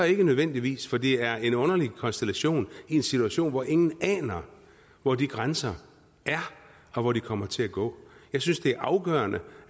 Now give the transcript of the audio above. ikke nødvendigvis for det er en underlig konstellation i en situation hvor ingen aner hvor de grænser er og hvor de kommer til at gå jeg synes det er afgørende